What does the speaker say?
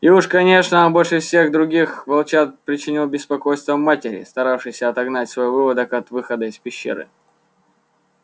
и уж конечно он больше всех других волчат причинял беспокойство матери старавшейся отогнать свой выводок от выхода из пещеры